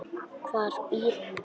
Hvar býr hún?